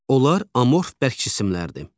Onlar amorf bərk cisimlərdir.